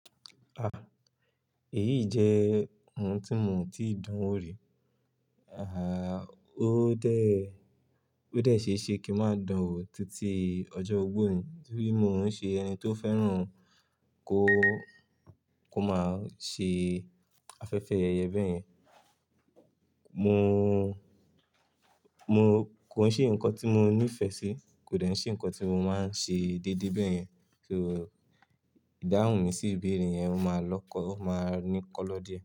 Ah, èyí jẹ́ ohun tí mò tíì dán wò rí. Àh, ó dé, ó dé ṣeéṣe kí n máa dán wò títí ọjọ́ ogbó ni nítorí mò ń ṣe ẹni tó fẹ́ràn kó, kó máa ṣe afẹ́fẹ́ yẹ̀yẹ̀ bẹ́yẹn. Mò, mo kò ṣe nǹkan tí mo ní ìfẹ́ sí, kò dàbí ṣe nǹkan tí mo máa ń ṣe déédéé bẹ́yẹn, kí ó, ìdáhùn mi sí ìbéèrè yẹn ó máa lọ́kọ, ó máa ní kọ́lọ́ diẹ.